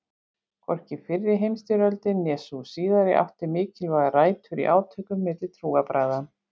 Hvorki fyrri heimstyrjöldin né sú síðari áttu mikilvægar rætur í átökum milli trúarbragða.